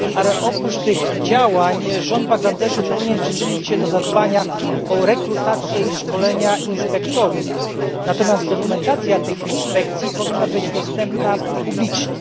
Ale oprócz tych działań rząd Bangladeszu powinien przyczynić się do zadbania o rekrutację i szkolenia inspektorów, natomiast dokumentacja tych inspekcji powinna być dostępna publicznie.